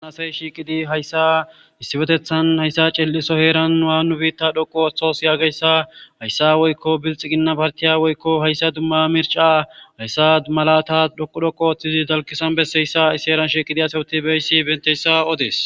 Haysa shiiqidi hayssa issifetethan hayssa ciel7iso heeran aa nu biitta dhoqu othos yaageyssa hayssa woykko bilxi ginna partiya woykko hayssa dumma mirca hayssa malata dhoqu dhoqu ooththizi dalkisan besseyssa issi heeran shiiqidi asewuti beysi benteyssa odees